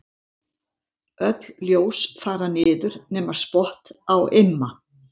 Öll ljós fara niður nema spott á Imma.